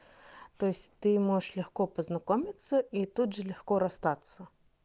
то есть ты можешь легко познакомиться и тут же легко расстаться